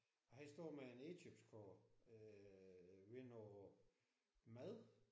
Og han står med en indkøbskurv ved noget mad